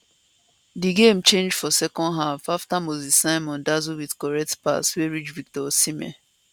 di game change for second half afta moses simon dazzle wit correct pass wey reach victor osimhen